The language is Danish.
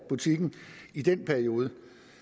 butikken i den periode